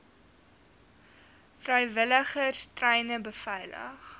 vrywilligers treine beveilig